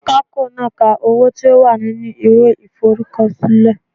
Akapo naa ka owo to wa ninu iwe iforukosile